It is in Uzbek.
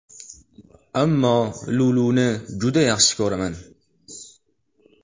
Ammo Luluni juda ham yaxshi ko‘raman”.